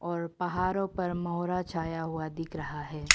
और पहाड़ो पर मोहरा छाया हुआ दिख रहा है।